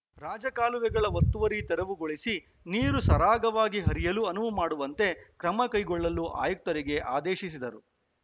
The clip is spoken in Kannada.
ರಾಜ ಕಾಲುವೆಗಳ ಒತ್ತುವರಿ ತೆರವುಗೊಳಿಸಿ ನೀರು ಸರಾಗವಾಗಿ ಹರಿಯಲು ಅನುವು ಮಾಡುವಂತೆ ಕ್ರಮ ಕೈಗೊಳ್ಳಲು ಆಯುಕ್ತರಿಗೆ ಆದೇಶಿಸಿದರು